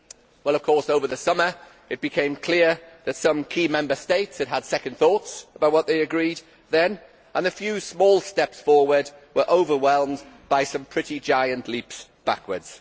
Well, of course, over the summer it became clear that some key Member States had had second thoughts about what they agreed then, and the few small steps forward were overwhelmed by some pretty giant leaps backwards.